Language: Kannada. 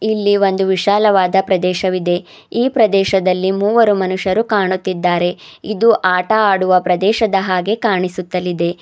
ಇಲ್ಲಿ ಒಂದು ವಿಶಾಲವಾದ ಪ್ರದೇಶವಿದೆ ಈ ಪ್ರದೇಶದಲ್ಲಿ ಮೂವರು ಮನುಷ್ಯರು ಕಾಣುತ್ತಿದ್ದಾರೆ ಇದು ಆಟ ಆಡುವ ಪ್ರದೇಶದ ಹಾಗೆ ಕಾಣಿಸುತ್ತಲಿದೆ.